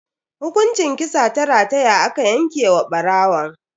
Hukunci kisa ta rataya aka yanke wa barawon.